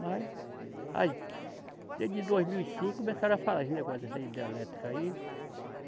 Mas, aí, desde dois mil e cinco começaram a falar esses negócios dessa hidrelétrica aí.